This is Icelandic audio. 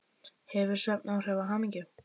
Hefur svefn áhrif á hamingju?